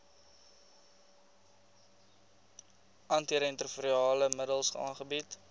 antiretrovirale middels aangebied